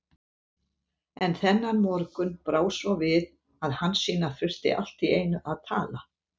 En þennan morgun brá svo við að Hansína þurfti allt í einu að tala.